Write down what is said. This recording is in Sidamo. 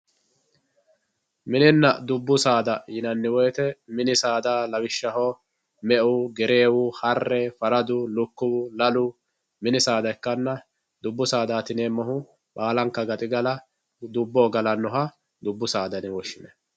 Minina dubbu saada xa mini saada lawishaho me`u gerewu hare faradu lukiwu lalalu mini saada ikana dubbu saadati yineemohu baalanka gaxigala dubbu saada yime woshinanai.